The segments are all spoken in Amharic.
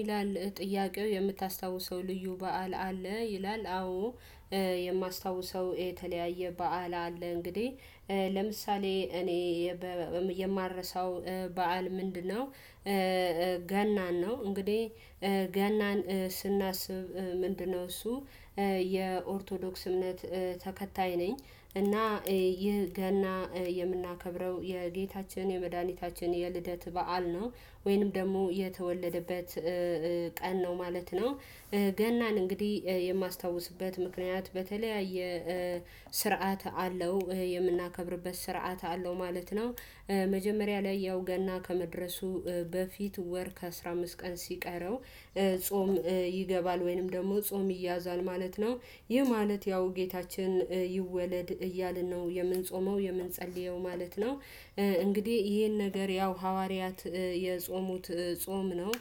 ይላል ጥያቄው የምታስታውሰው ልዩ በዓል አለ? ይላል አዎ የማስታውሰው የተለያየ በዓል አለ። እንግዲህ ለምሳሌ እኔ የማልረሳው በዓል ምንድነው ገናን ነው። እንግዲህ ገናን ስናስብ ምንድነው? እሱ የኦርቶዶክስ እምነት ተከታይ ነኝ እና ይህ ገና የምናከብረው የጌታችን የመድኃኒታችን የልደት በዓል ነው ወይንም ደግሞ የተወለደበት ቀን ነው ማለት ነው። ገናን እንግዲህ የማስታውስበት ምክንያት በተለያየ ስርዓት አለው የምናከብርበት ስርዓት አለው ማለት ነው። መጀመሪያ ላይ ያው ገና ከመድረሱ በፊት ወር ከአስር አምስት ቀን ሲቀረው ጾም ይገባል ወይንም ደግሞ ጾም ይያዛል ማለት ነው። ይህ ማለት ያው ጌታችን ይወለድ እያልን ነው የምንጾመው የምንጸልየው ማለት ነው። እንግዲህ ይሄን ነገር ያው ሐዋርያት የጾሙት ጾም ነው።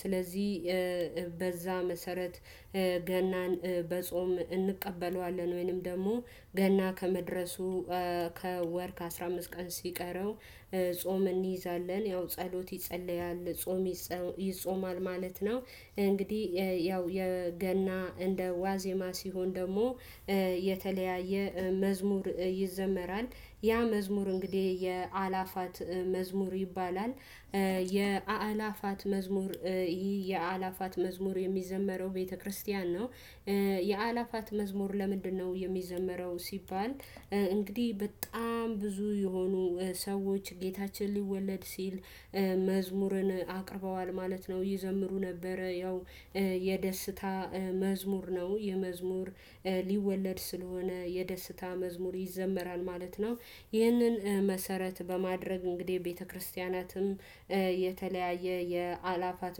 ስለዚህ በዛ መሰረት ገናን በጾም እንቀበለዋለን። ወይንም ደግሞ ገና ከመድረሱ ከወር ከአስር አምስት ቀን ሲቀረው ጾም እንይዛለን ያው ጸሎት ይጸልያል ጾም ይጾማል ማለት ነው። እንግዲህ ያው የገና እንደ ዋዜማ ሲሆን ደግሞ የተለያየ መዝሙር ይዘመራል ያ መዝሙር እንግዲህ የአላፋት መዝሙር ይባላል የአላፋት መዝሙር ይሄ የአእላፋት መዝሙር የሚዘመረው ቤተክርስቲያን ነው። የአእላፋት መዝሙር ለምንድነው የሚዘመረው ሲባል። እንግዲህ በጣም ብዙ የሆኑ ሰዎች ጌታችን ሊወለድ ሲል መዝሙርን አቅርበዋል ማለት ነው። ይዘምሩ ነበር ያው የደስታ መዝሙር ነው። የመዝሙር ሊወለድ ስለሆነ የደስታ መዝሙር ይዘመራል ማለት ነው። ይህንን መሰረት በማድረግ እንግዲህ ቤተክርስቲያናትም የተለያየ የአላፋት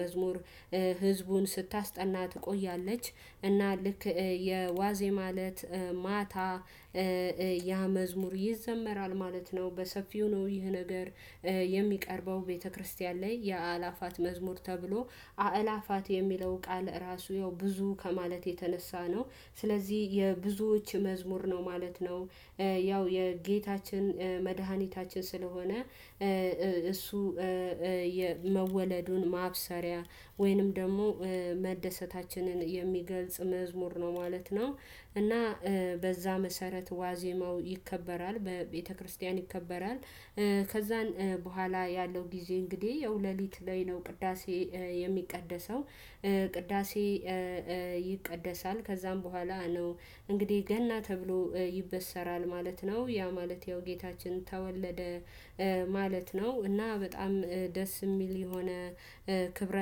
መዝሙር ህዝቡን ስታስጠና ትቆያለች። እና ልክ የዋዜማ እለት ማታ ያ መዝሙር ይዘመራል ማለት ነው። በሰፊው ነው ይህ ነገር የሚቀርበው ቤተክርስቲያን ላይ የአላፋት መዝሙር ተብሎ አእላፋት የሚለው ቃል ራሱ ያው ብዙ ከማለት የተነሳ ነው። ስለዚህ የብዙዎች መዝሙር ነው ማለት ነው። ያው የጌታችን መድኃኒታችን ስለሆነ እሱ የመወለዱን ማብሰሪያ ወይንም ደግሞ መደሰታችንን የሚገልጽ መዝሙር ነው ማለት ነው። እና በዛ መሰረት ዋዜማው ይከበራል በቤተክርስቲያን ይከበራል። ከዛን በኋላ ያለው ጊዜ እንግዲህ ያው ሌሊት ላይ ነው ቅዳሴ የሚቀደሰው ቅዳሴ ይቀደሳል ከዛም በኋላ ነው። እንግዲህ ገና ተብሎ ይበሰራል ማለት ነው ያ ማለት ያው ጌታችን ተወለደ ማለት ነው። እና በጣም ደስ የሚል የሆነ ክብረ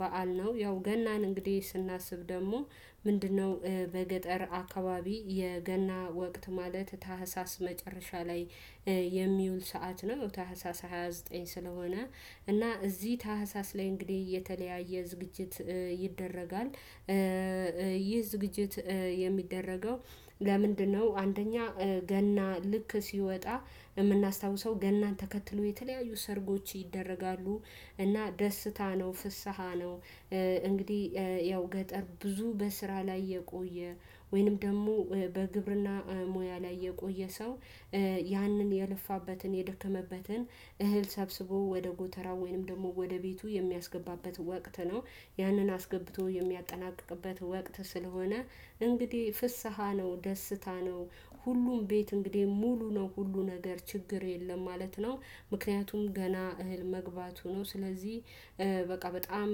በዓል ነው። ያው ገናን እንግዲህ ስናስብ ደግሞ ምንድነው? በገጠር አካባቢ የገና ወቅት ማለት ታህሳስ መጨረሻ ላይ የሚውል ሰዓት ነው ታህሳስ ሃያ ዘጠኝ ስለሆነ እና እዚህ ታህሳስ ላይ እንግዲህ የተለያየ ዝግጅት ይደረጋል። ይህ ዝግጅት የሚደረገው ለምንድነው? አንደኛ ገና ልክ ሲወጣ የምናስታውሰው ገናን ተከትሎ የተለያዩ ሰርጎች ይደረጋሉ። እና ደስታ ነው ፍስሃ ነው እንግዲህ ያው ገጠር ብዙ በስራ ላይ የቆየ ወይንም ደግሞ በግብርና ሙያ ላይ የቆየ ሰው። ያንን የለፋበትን የደከመበትን እህል ሰብስቦ ወደ ጎተራ ወይንም ደግሞ ወደ ቤቱ የሚያስገባበት ወቅት ነው። ያንን አስገብቶ የሚያጠናቅቅበት ወቅት ስለሆነ እንግዲህ ፍስሃ ነው ደስታ ነው። ሁሉም ቤት እንግዲህ ሙሉ ነው ሁሉ ነገር ችግር የለም ማለት ነው። ምክንያቱም ገና እህል መግባቱ ነው ስለዚህ በቃ በጣም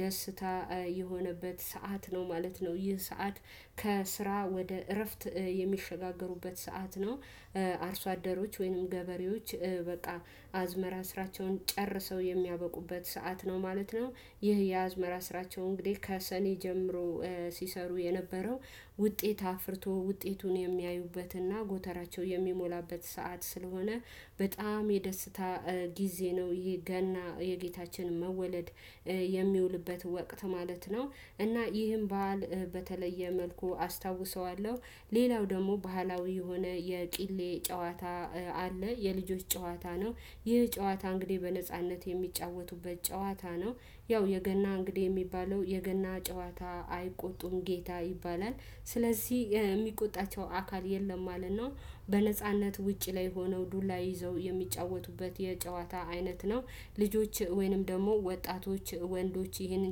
ደስታ የሆነበት ሰዓት ነው ማለት ነው። ይህ ሰዓት ከስራ ወደ እረፍት የሚሸጋገሩበት ሰዓት ነው። አርሶ አደሮች ወይንም ገበሬዎች በቃ አዝመራ ስራቸውን ጨርሰው የሚያበቁበት ሰዓት ነው ማለት ነው። ይህ የአዝመራ ስራቸው እንግዲህ ከሰኔ ጀምሮ ሲሰሩ የነበረው ውጤት አፍርቶ ውጤቱን የሚያዩበትና ጎተራቸው የሚሞላበት ሰዓት ስለሆነ በጣም የደስታ ጊዜ ነው። ይሄ ገና የጌታችን መወለድ የሚውልበት ወቅት ማለት ነው። እና ይህን ባህል በተለየ መልኩ አስታውሰዋለሁ። ሌላው ደግሞ ባህላዊ የሆነ የቂሌ ጨዋታ አለ። የልጆች ጨዋታ ነው። ይህ ጨዋታ እንግዲህ በነጻነት የሚጫወቱበት ጨዋታ ነው። ያው የገና እንግዲህ የሚባለው የገና ጨዋታ አይቆጡም ጌታ ይባላል። ስለዚህ የሚቆጣቸው አካል የለም ማለት ነው። በነጻነት ውጪ ላይ ሆነው ዱላ ይዘው የሚጫወቱበት የጨዋታ አይነት ነው። ልጆች ወይንም ደግሞ ወጣቶች ወንዶች ይህንን